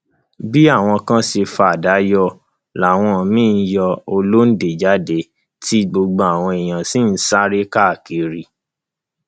bí àwọn kan ṣe fa àdá yọ làwọn míín yọ ọlọńde jáde tí gbogbo àwọn èèyàn sì ń sáré káàkiri